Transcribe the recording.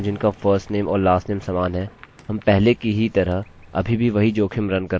अतः इस समय आप देख सकते हैं कि मेरी जन्मतिथि 2009 निर्धारित है जोकि वर्तमान तिथि है